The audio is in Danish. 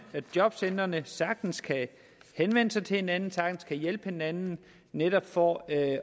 og jobcentrene sagtens kan henvende sig til hinanden sagtens kan hjælpe hinanden netop for at